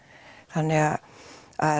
þannig að